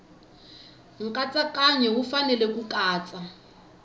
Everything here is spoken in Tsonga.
nkatsakanyo wu fanele ku katsa